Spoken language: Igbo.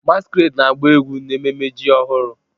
Masquerade na-agba egwu n'ememme ji ọhụrụ